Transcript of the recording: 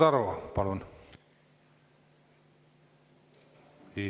Igor Taro, palun!